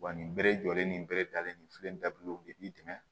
Wa nin bɛre jɔlen nin berebiyalen nin filɛ nin dabila o de b'i dɛmɛ